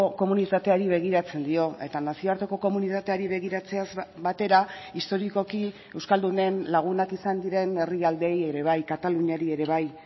komunitateari begiratzen dio eta nazioarteko komunitateari begiratzeaz batera historikoki euskaldunen lagunak izan diren herrialdeei ere bai kataluniari ere bai